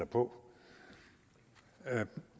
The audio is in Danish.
på